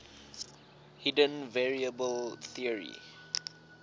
hidden variable theory